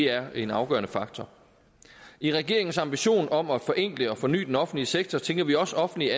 er en afgørende faktor i regeringens ambition om at forenkle og forny den offentlige sektor tænker vi også offentligt